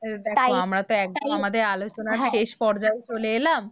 দেখো তাই তাই আমরা তো একদম আমাদের আলোচনার শেষ পর্যায়ে চলে এলাম